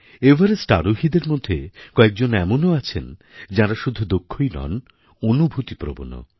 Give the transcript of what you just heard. Everest আরোহীদের মধ্যে কয়েকজন এমনও আছেন যাঁরা শুধু দক্ষই নন অনুভূতিপ্রবণও